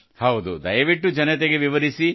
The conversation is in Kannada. ಹೌದು ದಯವಿಟ್ಟು ಜನರಿಗೆ ವಿವರಿಸಿ